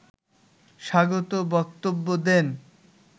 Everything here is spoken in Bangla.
স্বাগত বক্তব্য দেন